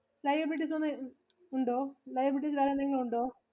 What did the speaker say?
Liabilities എന്തെങ്കിലും ഉണ്ടോ? Liabilities വേറെന്തെങ്കിലും ഉണ്ടോ?